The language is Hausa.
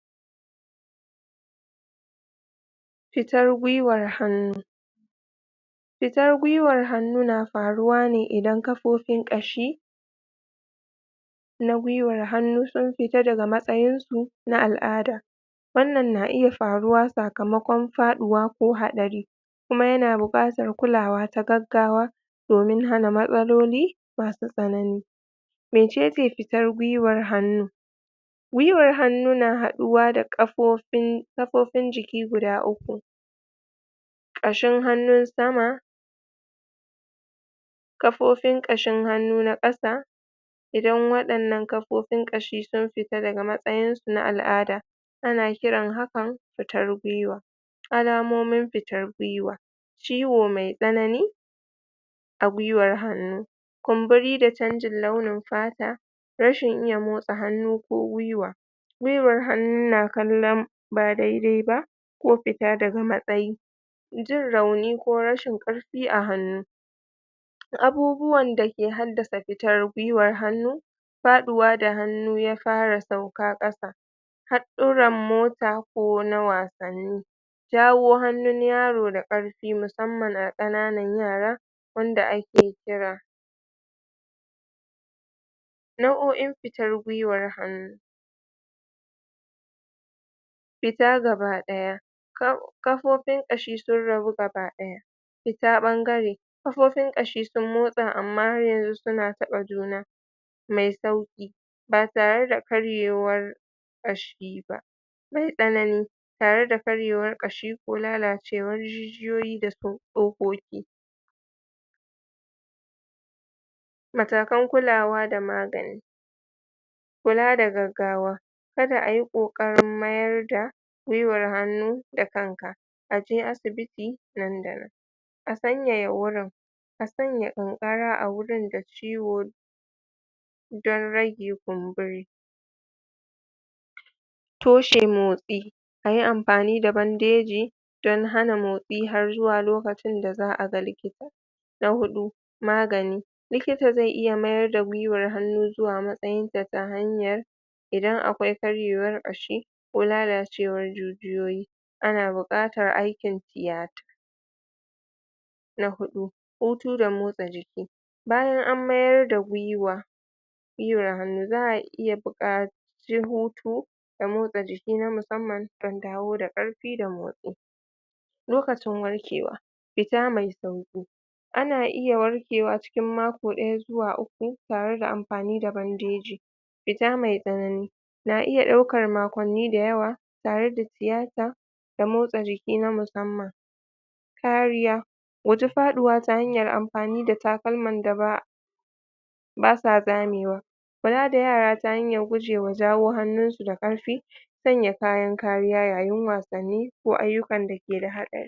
fitar gwiwar hannu fitar gwiwar hannu na faruwane idan kafofin ƙashi na gwiwar hannu sun fita daga matsayin su na al'ada wanan na iya faruwa saka mokon faɗuwa ko haɗari kuma yana buƙatar kulawa ta gaggawa domin hana matsaloli masu tsanani mecece fitar gwiwar hannu gwiwar hannu na haɗuwa da ƙafofin kafofin jiki guda uku ƙashin hannun sama kafofin ƙashin hannu na ƙasa idan waɗannan kafofin ƙashi sun fita daga matsayin su na al'ada ana kiran hakan futar gwiwa alamomin fitar gwiwa ciwo mai tsanani a gwiwar hannu kunburi da canjin launin fata rashin iya motsa hannu ko gwiwa gwiwar hannu na kallan ba daidai ba ko fita daga matsayi jin rauni ko rashin ƙarfi a hannu abubuwan da suke haddasa fitar gwiwar hannu faɗuwa da hannu fara sauka ƙasa haɗɗuran mota ko na wasanni jawo hannin yaro da ƙarfi mu sanman a ƙananan yara wanda ake kira nau'o'in fitar gwiwar hannu fita gaba ɗaya ƙafufin ƙashi sun rabu gaba ɗaya fita ɓangare ƙafofin ƙashi sun motsa amma har yanzu suna taɓa juna me sauki ba tare da karyewar ƙashi ba mai tsanani tare da karyewar ƙashi ko lalacewar jijiyoyi dasu ƙofofi matakan kulawa da magani kula da gaggawa kada iyi ƙoƙarin mayar da gwiwar hannu da kanka aje asibiti nan da nan a sanyaya wurin a sanya ƙanƙara agurin da ciwo dan rage kunbori toshe motsi ayi amfani da bandeji dan hana motsi har zuwa lokacin da za'aga likita na huɗu magani likita ze iya mayar da gwiwar hannu zuwa matsayinta ta hanyar idan akwai karyewar ƙashi ko lalacewar jijiyoyi ana buƙatar aikin tiyata na huɗu hutu da motsa jiki bayan an mayar da gwiwa gwiwar hannu za'a iya buƙa ci hutu da motsa jiki na musamman dan dawo da ƙarfi da motsi lokacin warkewa fita mai sauƙi ana iya warkewa cikin makoɗaya zuwa uku tare da amfani da bandeji fita mai tsanani na iya ɗaukar makwanni da yawa tare da tiyata da motsa jiki na musamman kariya guji faɗuwa ta hanyar amfani da takalman daba basa zamewa kula da yara ta hanyar gujewa jawo hannun su da ƙarfi sanya kayan kariya yayin wasanni ko ayyukan da keda haɗari